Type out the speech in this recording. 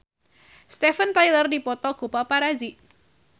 Steven Tyler dipoto ku paparazi